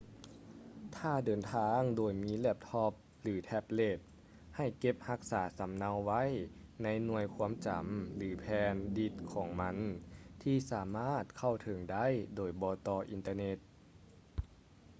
ຖ້າເດີນທາງໂດຍມີແລັບທັອບ ຫຼື ແທັບເລັດ ໃຫ້ເກັບຮັກສາສຳເນົາໄວ້ໃນໜ່ວຍຄວາມຈຳ ຫຼື ແຜ່ນດິດຂອງມັນ ທີ່ສາມາດເຂົ້າເຖິງໄດ້ໂດຍບໍ່ຕໍ່ອິນເຕີເນັດ